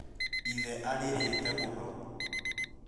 ithe arĩrĩite mũno